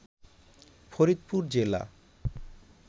ফরিদপুর জেলা